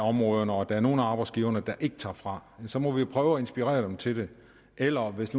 områderne og at der er nogle af arbejdsgiverne der ikke tager fra så må vi prøve at inspirere dem til det eller hvis